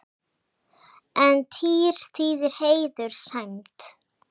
En tír þýðir heiður, sæmd.